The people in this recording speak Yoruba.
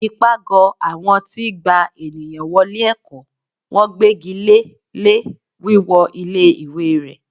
ipágọ awọn ti gbá ènìyàn wọlé ẹkọ, wọn gbégíle lé wíwọ ilé ìwé ré